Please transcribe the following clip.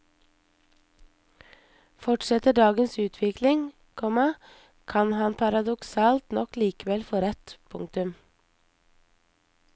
Fortsetter dagens utvikling, komma kan han paradoksalt nok likevel få rett. punktum